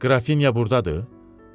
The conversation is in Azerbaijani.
Məyər Qrafinya burdadır?